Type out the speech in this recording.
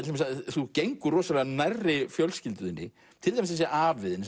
þú gengur rosalega nærri fjölskyldu þinni til dæmis þessi afi þinn